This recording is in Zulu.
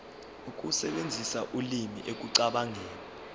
ukusebenzisa ulimi ekucabangeni